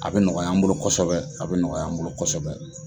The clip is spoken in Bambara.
A bɛ nɔgɔya an bolo kosɛbɛ, a bɛ nɔgɔya an bolo kosɛbɛ.